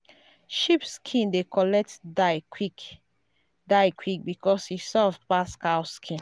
sheep skin dey collect dye quick dye quick because e soft pass cow skin.